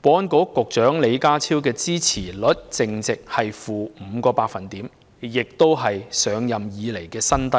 保安局局長李家超的支持率淨值為 -5%， 亦是他上任以來的新低。